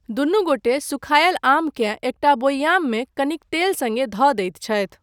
दुनू गोटे सुखायल आमकेँ एकटा बोयाम मे, कनिक तेल सङ्गे, धऽ दैत छथि।